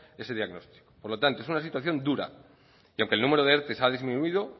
este diagnóstico por lo tanto es una situación dura y aunque el número de erte ha disminuido